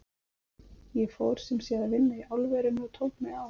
Ég fór sem sé að vinna í álverinu og tók mig á.